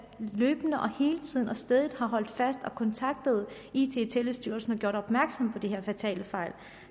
løbende og hele tiden og stædigt har holdt fast i det og kontaktet it og telestyrelsen og gjort opmærksom på de her fatale fejl